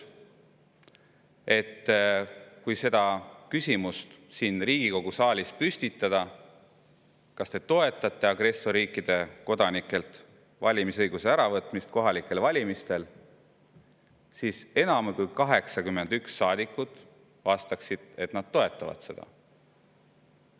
Mul on selline tunnetus, et kui siin Riigikogu saalis püstitada küsimus, kas te toetate agressorriikide kodanikelt valimisõiguse äravõtmist kohalikel valimistel, siis enam kui 81 saadikut vastaksid, et nad toetavad seda.